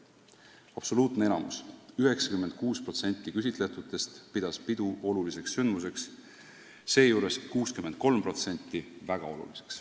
Absoluutne enamus, 96% küsitletutest pidas pidu oluliseks sündmuseks, seejuures 63% väga oluliseks.